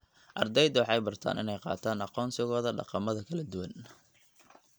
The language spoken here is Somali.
Ardayda waxay bartaan inay qaataan aqoonsigooda dhaqamada kala duwan.